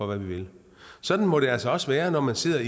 hvad vi vil sådan må det altså også være når man sidder